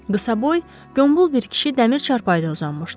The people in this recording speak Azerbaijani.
Qısaboy, gömbul bir kişi dəmir çarpayıda uzanmışdı.